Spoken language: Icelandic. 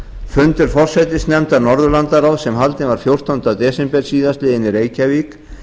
fundur forsætisnefndar norðurlandaráðs sem haldinn var fjórtánda desember síðastliðinn í reykjavík